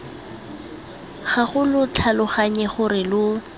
gago lo tlhaloganye gore lo